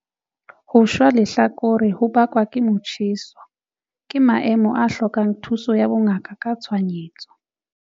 Ho shwa lehlakore ho bakwang ke motjheso ke maemo a hlokang thuso ya bongaka ka tshohanyetso.